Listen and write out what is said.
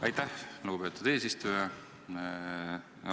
Aitäh, lugupeetud eesistuja!